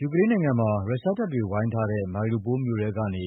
ယူကရိန်းနိုင်ငံမှာ ရုရှားတပ်တွေ ဝိုင်းထားတဲ့ Mariupol မြို့ထဲကနေ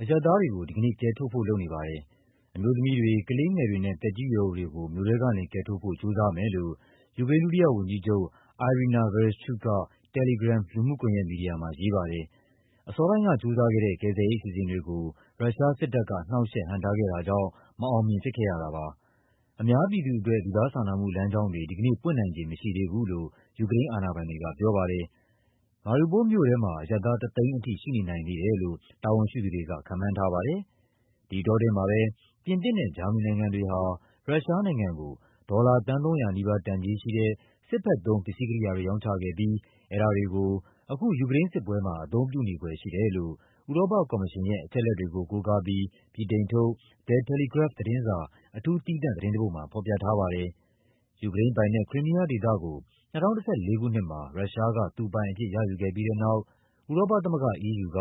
အရပ်သားတွေကို ဒီကနေ့ ကယ်ထုတ်ဖို့ လုပ်နေပါတယ်။ အမျိုးသမီးတွေ၊ ကလေးငယ်တွေနဲ့ သက်ကြီးရွယ်အိုတွေကို မြို့ထဲကနေ ကယ်ထုတ်ဖို့ ကြိုးစားမယ်လို့ ယူကရိန်း ဒုတိယဝန်ကြီးချုပ် Iryna Vereshchuk က Telegram လူမှုကွန်ရက်မီဒီယာမှာ ရေးပါတယ်။ အစောပိုင်းက ကြိုးစားခဲ့တဲ့ ကယ်ဆယ်ရေး အစီအစဉ်တွေကို ရုရှားစစ်တပ်က နှောင့်ယှက် ဟန့်တားခဲ့တာကြောင့် မအောင်မြင် ဖြစ်ခဲ့ရတာပါ။ အများပြည်သူအတွက် လူသားစာနာမှု လမ်းကြောင်းတွေ ဒီကနေ့ ပွင့်နိုင်ခြေ မရှိသေးဘူးလို့ ယူကရိန်းအာဏာပိုင်တွေက ပြောပါတယ်။ Mariupol မြို့ထဲမှာ အရပ်သား ၁၀၀,၀၀၀ အထိ ရှိနေနိုင်သေးတယ်လို့ တာဝန်ရှိသူတွေက ခန့်မှန်းထားပါတယ်။ ဒီအတောအတွင်းမှာပဲ ပြင်သစ်နဲ့ ဂျာမနီနိုင်ငံတွေဟာ ရုရှားနိုင်ငံကို ဒေါ်လာ သန်း ၃၀၀ နီးပါး တန်ကြေးရှိတဲ့ စစ်ဘက်သုံး ပစ္စည်းကိရိယာတွေ ရောင်းချခဲ့ပြီး အဲဒါတွေကို အခု ယူကရိန်းစစ်ပွဲမှာ အသုံးပြုနေဖွယ်ရှိတယ်လို့ ဥရောပကော်မရှင်ရဲ့ အချက်အလက်တွေကို ကိုးကားပြီး ဗြိတိန်ထုတ် The Telegraph သတင်းစာ အထူးသီးသန့် သတင်းတပုဒ်မှာ ဖော်ပြထားပါတယ်။ ယူကရိန်းပိုင်နက်၊ Crimea ဒေသကို ၂၀၁၄ ခုနှစ်မှာ ရုရှားက သူပိုင်အဖြစ် ရယူခဲ့ပြီးတဲ့နောက် ဥရောပသမဂ္ဂ EU က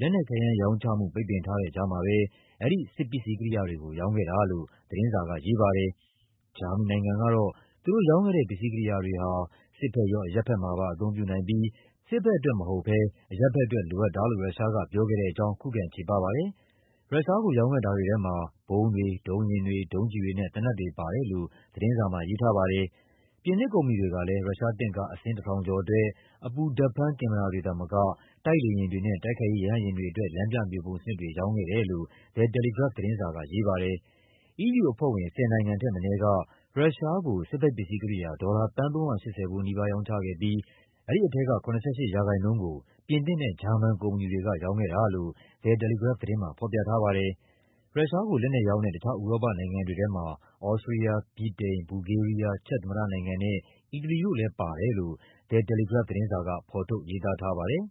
လက်နက်ခဲယမ်းရောင်းချမှု ပိတ်ပင်ထားတဲ့ကြားမှာပဲ အဲဒီပစ္စည်းကိရိယာတွေကို ရောင်းခဲ့တာလို့ သတင်းစာက ရေးပါတယ်။ ဂျာမနီနိုင်ငံကတော့ သူတို့ရောင်းခဲ့တဲ့ ပစ္စည်းကိရိယာတွေဟာ စစ်ဘက်ရော အရပ်ဘက်မှာပါ အသုံးပြုနိုင်ပြီး စစ်ဘက်အတွက် မဟုတ်ဘဲ အရပ်ဘက်အတွက် လိုအပ်တာလို့ ရုရှားက ပြောခဲ့တဲ့အကြောင်း ခုခံချေပပါတယ်။ ရုရှားကိုရောင်းခဲ့တာတွေထဲမှာ ဗုံးတွေ၊ ဒုံးယာဉ်တွေ၊ ဒုံးကျည်တွေနဲ့ သေနတ်တွေပါတယ်လို့ သတင်းစာမှာ ရေးထားပါတယ်။ ပြင်သစ်ကုမ္ပဏီတွေကလည်း ရုရှားတင့်ကား အစင်း ၁,၀၀၀ ကျော်အတွက် အပူဓာတ်ဖမ်း ကင်မရာတွေသာမက တိုက်လေယာဉ်တွေနဲ့ တိုက်ခိုက်ရေး ရဟတ်ယာဉ်တွေအတွက် လမ်းပြမြေပုံစနစ်တွေ ရောင်းခဲ့တယ်လို့ The Telegraph သတင်းစာက ရေးပါတယ်။ EU အဖွဲ့ဝင် ၁၀ နိုင်ငံထက်မနည်းက ရုရှားကို စစ်ဘက်ပစ္စည်းကိရိယာ ဒေါ်လာ သန်း ၃၈၀ ဖိုးနီးပါး ရောင်းချခဲ့ပြီး အဲဒီထဲက ၇၈ ရာခိုင်နှုန်းကို ပြင်သစ်နဲ့ ဂျာမန်ကုမ္ပဏီတွေက ရောင်းခဲ့တာလို့ The Telegraph သတင်းမှာ ဖော်ပြထားပါတယ်။ ရုရှားကို လက်နက်ရောင်းတဲ့ တခြားဥရောပနိုင်ငံတွေထဲမှာ သြစတြီးယား၊ ဗြိတိန်၊ ဘူလ်ဂေးရီးယား၊ ချက်သမ္မတနိုင်ငံနဲ့ အီတလီတို့လည်းပါတယ်လို့ The Telegraph သတင်းစာက ဖော်ထုတ် ရေးသားထားပါတယ်။